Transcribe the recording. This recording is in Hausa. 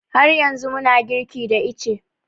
Har yanzu muna girki da ice